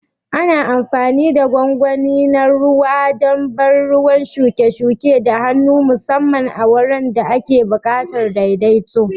Ana amfani da gwangwani na ruwa don ban ruwan shuke-shuke da hannu, musamman a wuraren da ake buƙatar daidaito.